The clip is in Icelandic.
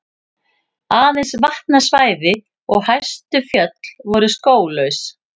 Aðeins vatnasvæði og hæstu fjöll voru skóglaus.